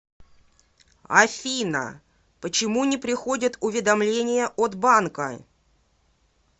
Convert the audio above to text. афина почему не приходят уведомления от банка